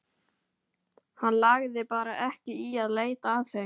Hann lagði bara ekki í að leita að þeim.